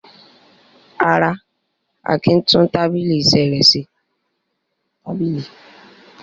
Rárá, Akin tún tábìlì iṣẹ́ rẹ̀ ṣe.